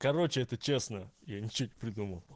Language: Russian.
короче это честно я ни чего не придумал